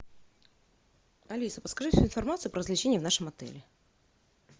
алиса подскажи всю информацию про развлечения в нашем отеле